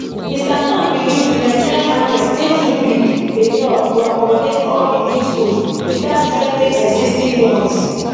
mr todd believes di nigerian market dey too big enough to accommodate all di new schools without threa ten ing existing ones